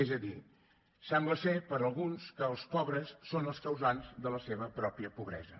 és a dir sembla per alguns que els pobres són els causants de la seva pròpia pobresa